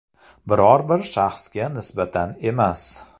Biror bir shaxsga nisbatan emas.